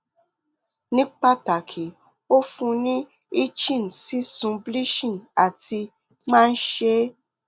ni pataki o fun ni itching sisun bleaching ati maa n ṣe